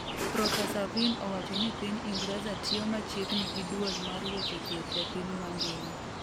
profesa Vin owacho ni Piny Ingreza tiyo machiegni gi duol mar weche thieth e piny mangima